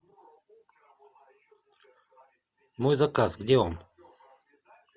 мой заказ где он